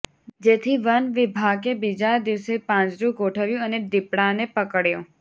જેથી વન વિભાગે બીજા દિવસે પાંજરું ગોઠવ્યું અને દીપડાને પકડ્યો